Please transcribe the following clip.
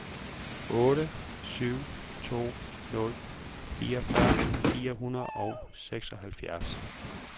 otte syv to nul fireogfyrre fire hundrede og seksoghalvfjerds